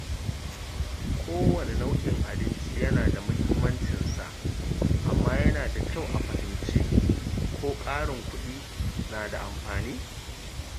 Kowanne nau’in abinci yana da muhimmancinsa, amma yana da kyau a fahimci ko ƙarin kuɗi na da amfani.